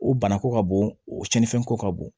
O banako ka bon o cɛnnifɛnko ka bon